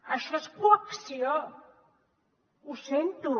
això és coacció ho sento